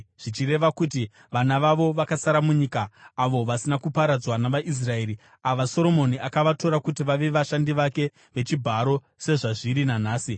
zvichireva kuti vana vavo vakasara munyika, avo vasina kuparadzwa navaIsraeri, ava Soromoni akavatora kuti vave vashandi vake vechibharo sezvazviri nanhasi.